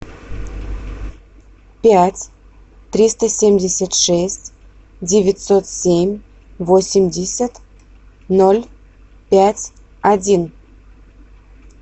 пять триста семьдесят шесть девятьсот семь восемьдесят ноль пять один